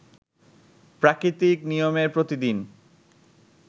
প্রাকৃতিক নিয়মে প্রতিদিন